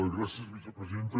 gràcies vicepresidenta